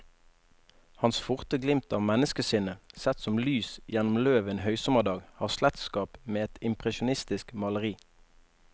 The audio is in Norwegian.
Hans forte glimt av menneskesinnet, sett som lys gjennom løv en høysommerdag, har slektskap med et impresjonistisk maleri.